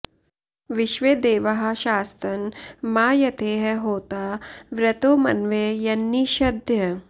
विश्वे॑ देवाः शा॒स्तन॑ मा॒ यथे॒ह होता॑ वृ॒तो म॒नवै॒ यन्नि॒षद्य॑